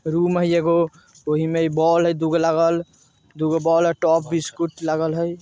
रूम हई एगो ओही में बॉल हई दो गो लागल दूगों बॉल हई टॉप बिस्कुट लागल हई।